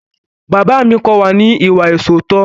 Bàbá mi kọ́ wa ní ìwà ìṣóòótọ́.